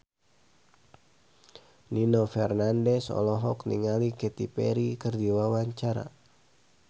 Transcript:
Nino Fernandez olohok ningali Katy Perry keur diwawancara